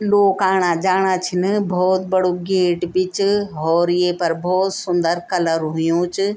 लोग आणा-जाणा छिन भोत बड़ु गेट भी च होर येफर भोत सुन्दर कलर हुयुं च।